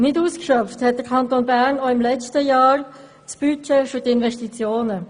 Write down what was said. Nicht ausgeschöpft hat der Kanton Bern auch im letzten Jahr das Budget für die Investitionen.